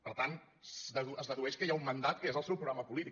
per tant es dedueix que hi ha un mandat que és el seu programa polític